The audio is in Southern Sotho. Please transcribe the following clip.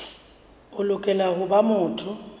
o lokela ho ba motho